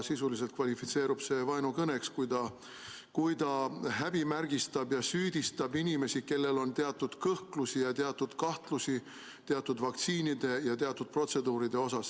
Sisuliselt kvalifitseerub see vaenukõneks, kui ta häbimärgistab ja süüdistab inimesi, kellel on teatud kõhklusi ja kahtlusi teatud vaktsiinide ja teatud protseduuride suhtes.